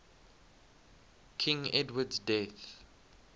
king edward's death